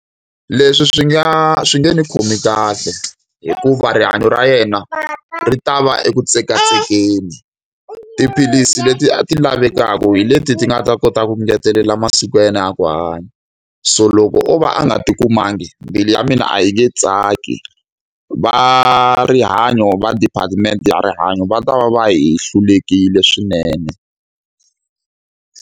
Leswi swi nga swi nge ni khomi kahle, hikuva rihanyo ra yena ri ta va eku tsekatsekeni. Tiphilisi leti a ti lavekaka hi leti ti nga ta kota ku ngetelela masiku ya yena ya ku hanya. So loko o va a nga ti kumangi, mbilu ya mina a yi nge tsaki. Va rihanyo va department ya rihanyo va ta va va hi hlulekile swinene.